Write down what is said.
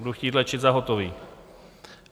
Budu chtít léčit za hotový.